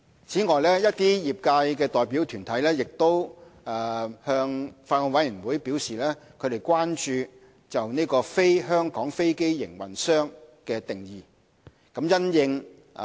此外，一些業界代表團體向法案委員會表示關注"非香港飛機營運商"的定義。